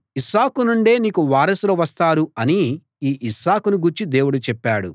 ఇస్సాకు నుండే నీకు వారసులు వస్తారు అని ఈ ఇస్సాకును గూర్చి దేవుడు చెప్పాడు